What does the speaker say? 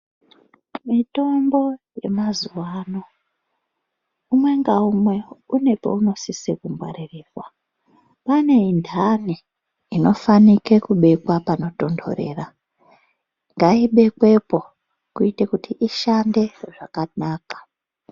Mitombo yemazuwa ano umwe ngaumwe une peunosisa kungwaririrwa. Pane ndani inofane kubekwa panotondorera. Ngaibekwepo kuite kuti ishande zvakanaka.